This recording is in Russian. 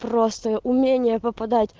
просто умение попадать